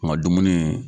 N ka dumuni